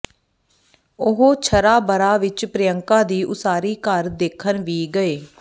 ਉਹ ਛਰਾਬਰਾ ਵਿਚ ਪ੍ਰਿਅੰਕਾ ਦਾ ਉਸਾਰੀ ਘਰ ਦੇਖਣ ਵੀ ਗਏ